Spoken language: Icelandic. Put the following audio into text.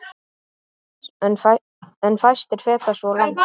En fæstir feta svo langt.